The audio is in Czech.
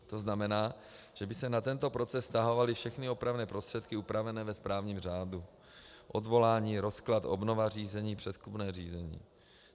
To znamená, že by se na tento proces vztahovaly všechny opravné prostředky upravené ve správním řádu: odvolání, rozklad, obnova řízení, přezkumné řízení.